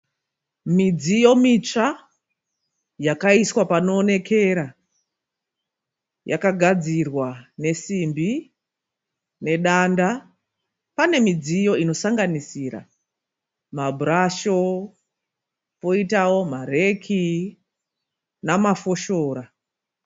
Midziyo mitsva yakaiswa panoonekera. Yakagadzirwa nesimbi nedanda. Pane midziyo inosanganisira maburasho, poitawo mareki namafoshora.